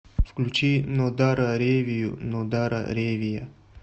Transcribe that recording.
включи нодара ревию нодара ревия